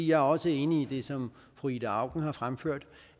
jeg er også enig i det som fru ida auken har fremført